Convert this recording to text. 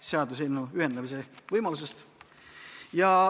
– seaduseelnõu ühendamise võimalusest.